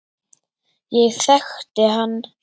Ég þekkti hann